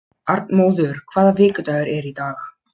Arnmóður, hvaða vikudagur er í dag?